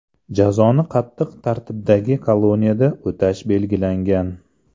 Jazoni qattiq tartibdagi koloniyada o‘tash belgilangan.